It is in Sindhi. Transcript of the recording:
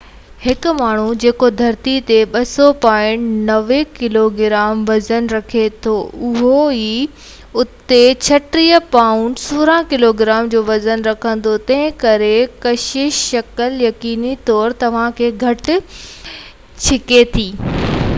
هڪ ماڻهو جيڪو ڌرتيءَ تي 200 پائونڊ 90 ڪلوگرام وزن رکي ٿو اهو آئي او تي 36 پائونڊ 16 ڪلوگرام جو وزن رکندو. تنهن ڪري ڪشش ثقل، يقيني طور، توهان کي گهٽ ڇڪي ٿي